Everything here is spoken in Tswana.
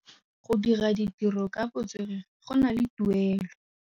Go dira ditirô ka botswerere go na le tuelô.